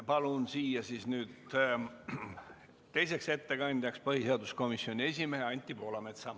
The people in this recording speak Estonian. Palun siia teiseks ettekandjaks põhiseaduskomisjoni esimehe Anti Poolametsa.